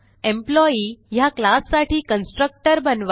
employee ह्या class साठी constructor बनवा